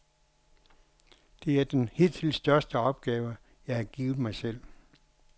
Det er den hidtil største opgave, jeg har givet mig selv.